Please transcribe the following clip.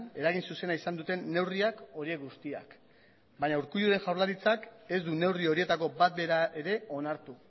eragin zuzena izan duten neurriak horiek guztiak baina urkulluren jaurlaritzak ez du neurri horietako bat bera ere onartu